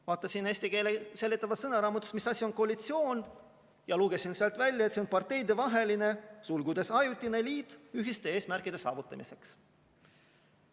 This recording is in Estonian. Vaatasin eesti keele seletavast sõnaraamatust, mis asi on koalitsioon, ja lugesin sealt välja, et see on parteide vaheline liit ühiste eesmärkide saavutamiseks.